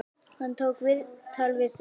Hann tók viðtal við þig?